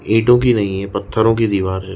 ईंटों की नहीं है पत्थोरों की दीवार है।